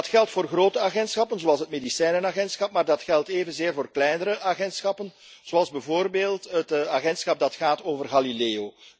Dat geldt voor grote agentschappen zoals het Medicijnenagentschap. Maar dat geldt evenzeer voor kleinere agentschappen, zoals bijvoorbeeld het agentschap dat gaat over Galileo.